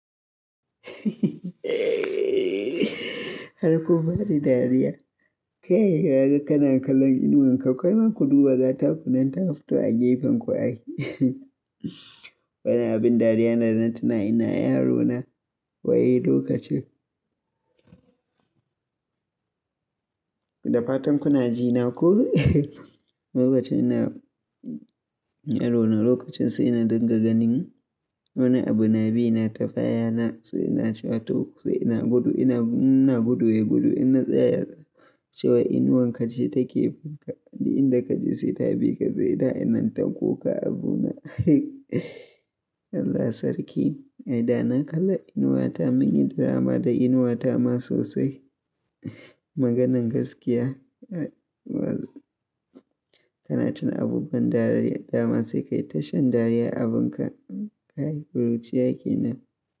Har kun bani dariya. Kai yaya ga kana kallon inuwan ka, kawai ma ku duba ga takunan ta fito a gefen ku ai. Wani abin dariya na da na tuna ina yaro na wai lokacin. Da fatan kuna ji na ko? Lokacin ina yaro na, lokacin sai na dinga ganin wani abu na bina ta bayana, sai ina cewa to, sai ina gudu, ina ina gudu ya gudu, in na tsaya, cewa inuwan kace take binka duk inda kaje sai ta bi ka, sai da inata kuka abu na. Allah Sarki, ai da na kalla inuwa ta mun yi drama da inuwa ta ma sosai. Maganan gaskiya, kana tun abubuwan dariya dama sai kai ta shan dariya abin ka, kai ƙuruciya kenan.